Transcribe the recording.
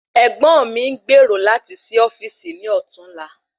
Ègbón mi n gbèrò lati sí ofíìsì ní ọtún la